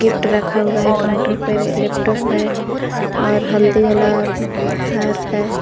रखा हुआ है काउंटर पे एक लैपटॉप है और हल्दी वाला हार है।